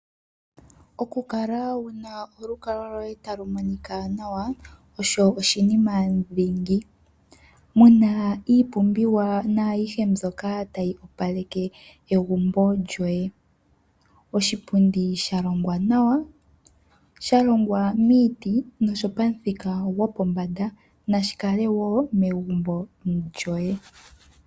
Okukala wuna olukalwa lwoye talu monika nawa osho oshinima dhingi . Muna iipumbiwa naayihe mbyoka tayi opaleke egumbo lyoye . Oshipundi shalongwa nawa , shalongwa miiti noshopamuthika gopombanda, nashikale wo megumbo lyoye.